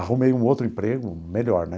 Arrumei um outro emprego, melhor, né?